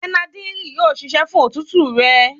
Bẹnadírílì yóò ṣiṣẹ́ fún òtútù rẹ.